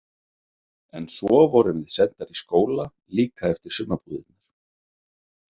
En svo vorum við sendar í skóla líka eftir sumarbúðirnar.